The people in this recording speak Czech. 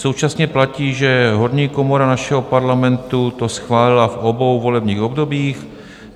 Současně platí, že horní komora našeho Parlamentu to schválila v obou volebních obdobích.